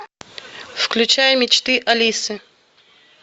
включай мечты алисы